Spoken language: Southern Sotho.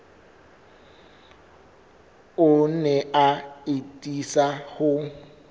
o ne a atisa ho